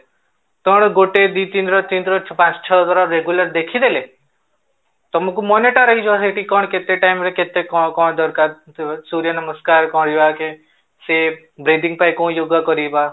କଣ ଗୋଟେ ଦି ଦିନର ତିନି ଥର ପାଞ୍ଚ ଛଅ ଥର regular ଦେଖିଦେଲେ ତମକୁ ମନେ ଟା ରହିଯିବ ସେଠି କଣ କେତେ time ରେ କେତେ କଣ କଣ ଦରକାର ସୂର୍ଯ୍ୟ ନମସ୍କାର ସେ breathing ପାଇଁ କୋଉ yoga କରିବା